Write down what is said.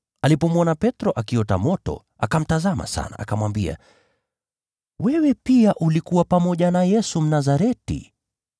Alipomwona Petro akiota moto, akamtazama sana, akamwambia, “Wewe pia ulikuwa pamoja na Yesu, Mnazareti.”